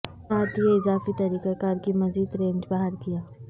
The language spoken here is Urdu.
ساتھ یہ اضافی طریقہ کار کی مزید رینج باہر کیا